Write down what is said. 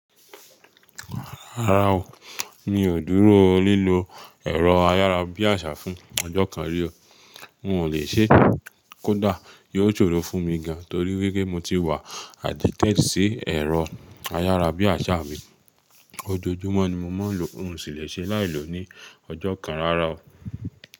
Rárá o, mi ò dúró lílo ẹ̀rọ ayára bí àṣá fún ọjọ́ kan rí o. N ò le ṣe é, kódà yóò ṣòro fún mi gan torí wípé mo ti wà addicted sí ẹ̀rọ ayára bí àṣá mi. Ojoojúmọ́ ni mo máa ń lo n sì lè ṣe láì lọ ní ọjọ́ kan rara o.